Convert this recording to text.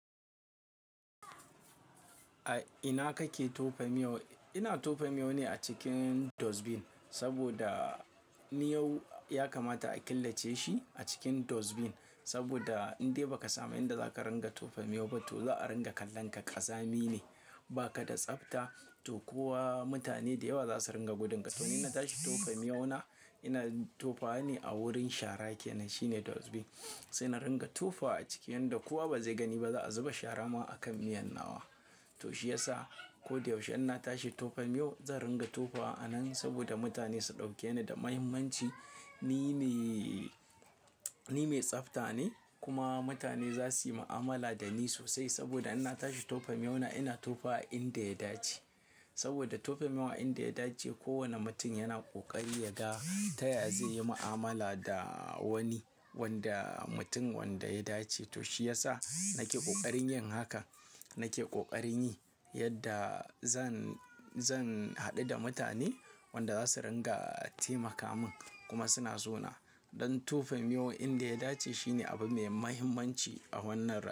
A ina kake tofa miyau? Ina tofa miyau ne a cikin dustbin. Saboda miyau yakamata a killace shi a cikin dustbin. Saboda, in dai baka samu inda zaka ringa tofa miyau ba, to za a ringa kallon ka ƙazami ne, ba ka da tsafta. To, kowa mutane dayawa za su ringa gudunka. To in tashi tofa miyau na, ina tofawa ne a wurin shara kenan shine dustbin. Sai na ringa tofawa a ciki inda kowa ba zai gani ba, za'a zuba shara ma a kan miyan nawa. To shiyasa, ko da yaushe ina tashi tofa miyau, zan ringa tofawa a nan saboda mutane su ɗauke ni da muhimmanci. Ni me, ni me tsafta ne kuma mutane za su yi ma'amala da ni sosai saboda inna tashi tofa miyau na ina tofa a inda ya dace. Saboda tofa miyau a inda ya dace kowane mutum yana ƙoƙari ya ga. Taya zai yi ma'amala da wani, wanda mutum wanda ya dace. To shiyasa, nake ƙoƙarin yin haka, nake ƙoƙarin yi yadda zan, zan haɗu da mutane wanda za su ringa taimaka min. Kuma suna so na don tofa miyau a inda ya dace shine abu mai muhimmanci a wannan rayuwa.